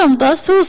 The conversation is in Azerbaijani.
Taparam da.